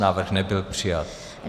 Návrh nebyl přijat.